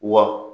Wa